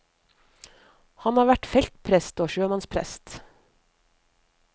Han har vært feltprest og sjømannsprest.